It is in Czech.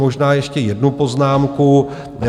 Možná ještě jednu poznámku.